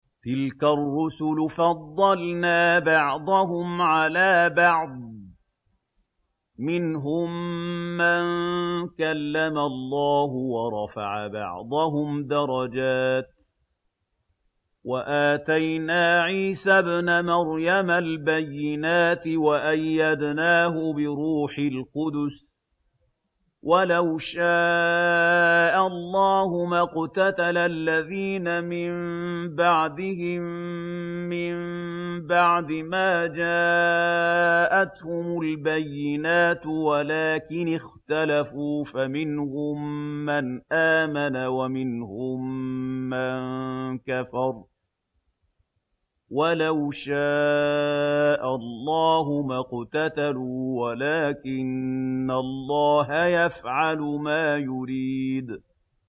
۞ تِلْكَ الرُّسُلُ فَضَّلْنَا بَعْضَهُمْ عَلَىٰ بَعْضٍ ۘ مِّنْهُم مَّن كَلَّمَ اللَّهُ ۖ وَرَفَعَ بَعْضَهُمْ دَرَجَاتٍ ۚ وَآتَيْنَا عِيسَى ابْنَ مَرْيَمَ الْبَيِّنَاتِ وَأَيَّدْنَاهُ بِرُوحِ الْقُدُسِ ۗ وَلَوْ شَاءَ اللَّهُ مَا اقْتَتَلَ الَّذِينَ مِن بَعْدِهِم مِّن بَعْدِ مَا جَاءَتْهُمُ الْبَيِّنَاتُ وَلَٰكِنِ اخْتَلَفُوا فَمِنْهُم مَّنْ آمَنَ وَمِنْهُم مَّن كَفَرَ ۚ وَلَوْ شَاءَ اللَّهُ مَا اقْتَتَلُوا وَلَٰكِنَّ اللَّهَ يَفْعَلُ مَا يُرِيدُ